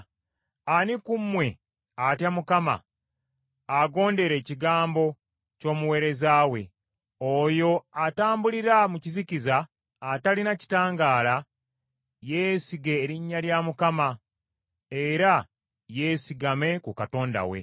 Ani ku mmwe atya Mukama , agondera ekigambo ky’omuweereza we? Oyo atambulira mu kizikiza, atalina kitangaala yeesige erinnya lya Mukama era yeesigame ku Katonda we.